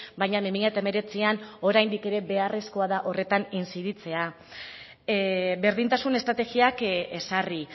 baina bi mila hemeretzian oraindik ere beharrezkoa da horretan inziditzea berdintasun estrategiak ezarri